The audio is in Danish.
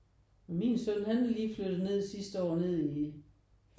Min søn han er lige flyttet ned sidste år ned i